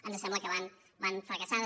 ens sembla que van fracassades